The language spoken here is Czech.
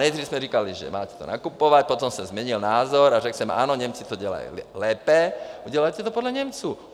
Nejdřív jsme říkali, že to máte nakupovat, potom jsem změnil názor a řekl jsem: Ano, Němci to dělají lépe, dělejte to podle Němců.